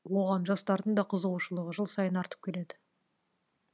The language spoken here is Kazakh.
оған жастардың да қызығушылығы жыл сайын артып келеді